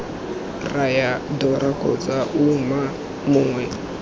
raya dora kgotsa ouma mongwe